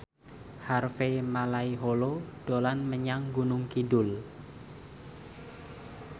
Harvey Malaiholo dolan menyang Gunung Kidul